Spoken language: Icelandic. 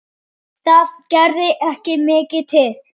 Það gerði ekki mikið til.